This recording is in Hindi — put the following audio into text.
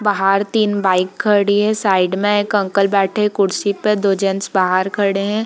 बाहर तीन बाइक खड़ी है साइड में एक अंकल बैठे हैं कुर्सी पे दो जेंट्स बाहर खड़े हैं।